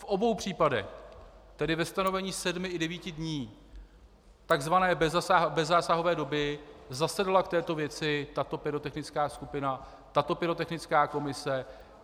V obou případech, tedy ve stanovení sedmi i devíti dní takzvané bezzásahové doby, zasedala k této věci tato pyrotechnická skupina, tato pyrotechnická komise.